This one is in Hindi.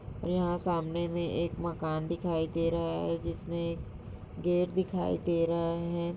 यहां सामने मे एक मकान दिखाए दे रहा है जिसमे एक गेट दे रहा है।